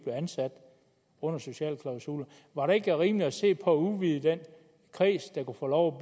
ansat under sociale klausuler var det ikke rimeligt at se på at udvide den kreds der kunne få lov